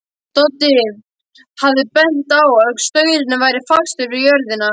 Doddi hafði bent á að staurinn væri fastur við jörðina.